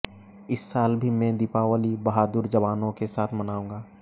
इस साल भी मैं दीपावली बहादुर जवानों के साथ मनाउंगा